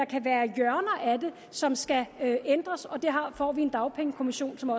som skal ændres og der får vi en dagpengekommission som